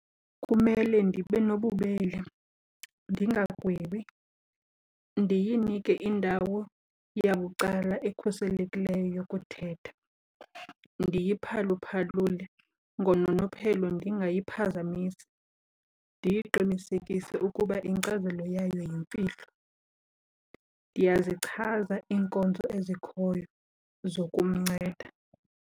Kumele ndibe nobubele, ndingagwebi, ndiyinike indawo yabucala ekhuselekileyo yokuthetha, ndiyiphaluphalule ngononophelo ndingayiphazamisi. Ndiyiqinisekise ukuba inkcazelo yayo yimfihlo, ndiyazichaza iinkonzo ezikhoyo zokumnceda.